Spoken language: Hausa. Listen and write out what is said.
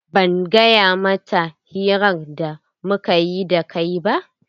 Ban gaya mata hirar da mukayi da kai ba.